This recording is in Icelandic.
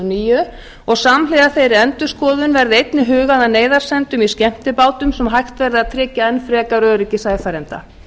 níu og samhliða þeirri endurskoðun verði einnig hugað að neyðarsendum í skemmtibátum svo hægt verði að tryggja enn frekari öryggi sæfarenda